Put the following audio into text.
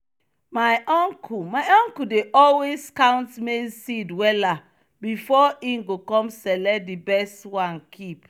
my uncle my uncle dey always count maize seed wella before e go com select di best one keep.